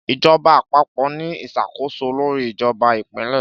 Ìjọba Àpapọ̀ ni ìṣàkóso lórí ìjọba Ìpínlẹ̀